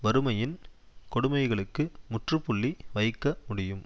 வறுமையின் கொடுமைகளுக்கு முற்றுப்புள்ளி வைக்க முடியும்